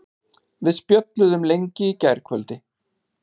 Við spjölluðum lengi í gærkvöldi.